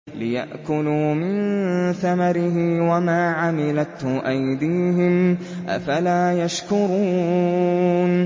لِيَأْكُلُوا مِن ثَمَرِهِ وَمَا عَمِلَتْهُ أَيْدِيهِمْ ۖ أَفَلَا يَشْكُرُونَ